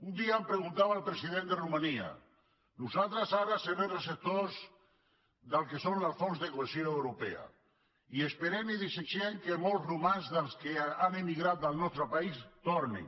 un dia em preguntava el president de ro·mania nosaltres ara serem receptors del que són els fons de cohesió europeus i esperem i desitgem que molts romanesos dels que han emigrat del nostre país tornin